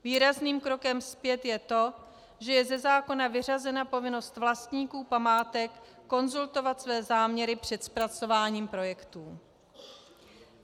Výrazným krokem zpět je to, že je ze zákona vyřazena povinnost vlastníků památek konzultovat své záměry před zpracováním projektů.